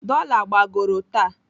Dola gbagoro taa.